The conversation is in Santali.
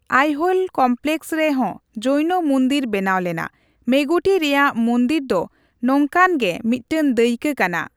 ᱟᱭᱦᱳᱞ ᱠᱚᱢᱯᱞᱮᱠᱥ ᱨᱮᱦᱚᱸ ᱡᱳᱭᱱᱚ ᱢᱩᱱᱫᱤᱨ ᱵᱮᱱᱟᱣ ᱞᱮᱱᱟ, ᱢᱮᱜᱩᱴᱤ ᱨᱮᱭᱟᱜ ᱢᱩᱱᱫᱤᱨ ᱫᱚ ᱱᱚᱝᱠᱟᱱᱜᱮ ᱢᱤᱫᱴᱟᱝ ᱫᱟᱹᱭᱠᱟᱹ ᱠᱟᱱᱟ ᱾